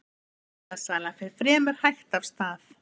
Bílasala fer fremur hægt af stað